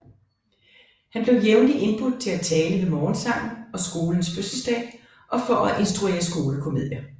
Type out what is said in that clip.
Han blev jævnligt indbudt til at tale ved morgensangen og skolens fødselsdag og for at instruere skolekomedier